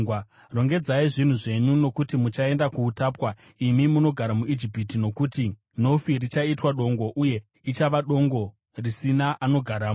Rongedzai zvinhu zvenyu, nokuti muchaenda kuutapwa, imi munogara muIjipiti, nokuti Nofi richaitwa dongo, uye richava dongo risina anogaramo.